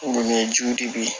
jiw de bɛ yen